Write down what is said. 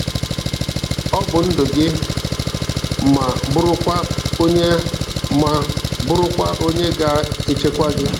Ọ bụ ndụ gị ma bụrụkwa onye ma bụrụkwa onye ga-echekwa gị.